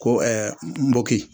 Ko nboki.